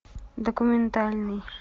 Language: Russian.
документальный